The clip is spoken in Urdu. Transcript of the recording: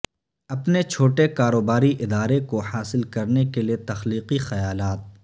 اپنے چھوٹے کاروباری ادارے کو حاصل کرنے کے لئے تخلیقی خیالات